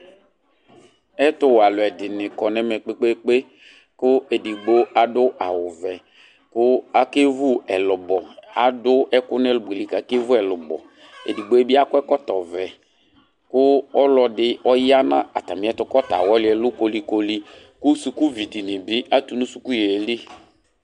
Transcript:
Ɛtu wɛ aluɛdini kɔ nɛmɛ kpekpekpe ku edigbo adu awu vɛ ku akevu ɛlubɔ adu ɛku nu ɛlubɔ li ku akevu ɛlubɔ edigbo bi akɔ ɛkɔtɔ vɛ ku ɔluɛdi ɔya nu atamiɛtu kɔta awɔli ɛlu koli koli ku sukuvidini bi atu suku yeli